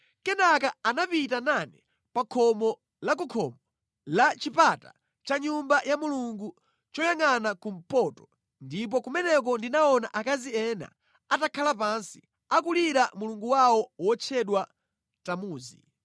Kenaka anapita nane pa khomo la ku khomo la chipata cha Nyumba ya Mulungu choyangʼana kumpoto, ndipo kumeneko ndinaona akazi ena atakhala pansi, akulira mulungu wawo wotchedwa Tamuzi.